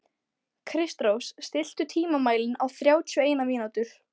Kristrós, stilltu tímamælinn á þrjátíu og eina mínútur.